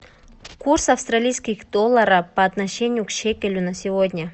курс австралийских долларов по отношению к шекелю на сегодня